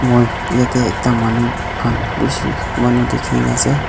moi yatey ekta manu khan bisi manu dekhi kina ase.